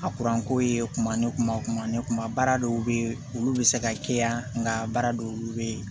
A ko ye kuma ne kunba o kuma ne kunba baara dɔw bɛ yen olu bɛ se ka kɛ yan nka baara dɔw olu bɛ yen